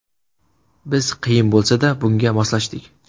Biz qiyin bo‘lsa-da, bunga moslashdik.